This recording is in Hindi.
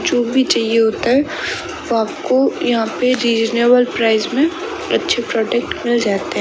जो भी चाहिए होता है वो आपको यहां पर रीजनेबल प्राइस में अच्छे प्रोडक्ट मिल जाते --